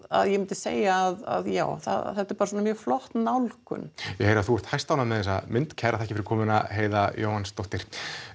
að ég myndi segja að já þetta er bara mjög flott nálgun ég heyri að þú ert hæstánægð með þessa mynd kærar þakkir fyrir komuna Heiða Jóhannsdóttir